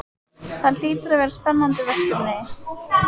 Það hlýtur að vera spennandi verkefni?